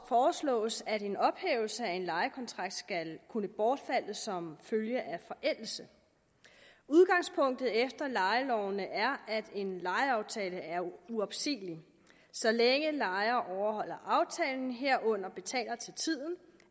foreslås at en ophævelse af en lejekontrakt skal kunne bortfalde som følge af forældelse udgangspunktet efter lejeloven er at en lejeaftale er uopsigelig og så længe lejer overholder aftalen herunder betaler til tiden